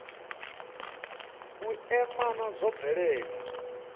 u ea maana zwo bvelela